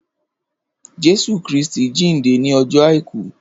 Jésù Krìstí jindé ni ọjọ áikù